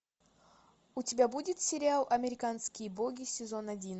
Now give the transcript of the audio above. у тебя будет сериал американские боги сезон один